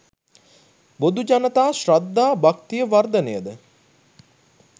බොදුජනතා ශ්‍රද්ධා භක්තිය වර්ධනයද